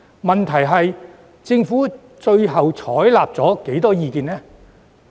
問題是政府最終採取了多少意見？